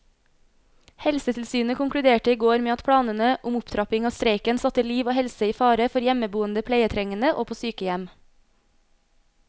Helsetilsynet konkluderte i går med at planene om opptrapping av streiken satte liv og helse i fare for hjemmeboende pleietrengende og på sykehjem.